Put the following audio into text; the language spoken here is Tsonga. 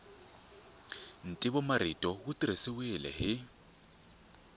ntivomarito wu tirhisiwile hi